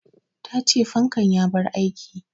Ta ce fankan ya bar aiki